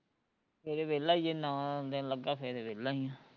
ਸਵੇਰੇ ਵੇਹਲਾ ਈ ਜੇ ਨਾ ਦਿਨ ਲੱਗਾ ਫੇਰ ਵੇਹਲਾ ਈ ਆ